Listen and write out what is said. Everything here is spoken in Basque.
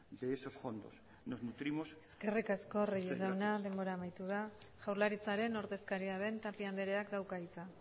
de esos fondos nos nutrimos eskerrik asko reyes jauna denbora amaitu da jaurlaritzaren ordezkaria den tapia andreak dauka hitza